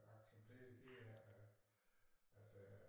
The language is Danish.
Acceptere det er at altså